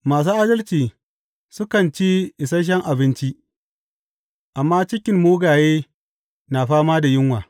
Masu adalci sukan ci isashen abinci, amma cikin mugaye na fama da yunwa.